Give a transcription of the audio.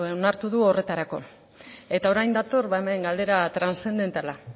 onartu du horretarako eta orain dator ba hemen galdera transzendentala